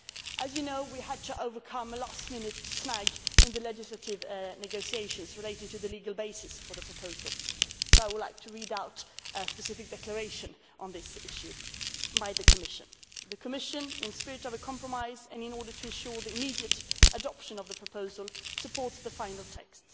As you know, we had to overcome a last minute snag in the legislative negotiations on the legal basis for the proposal, so I would like to read out a specific declaration on this issue by the Commission The Commission, in a spirit of compromise and in order to ensure the immediate adoption of the proposal, supports the final text